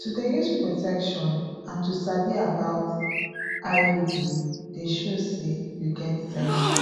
to dey use protection and to sabi about pause iud de show say you get sense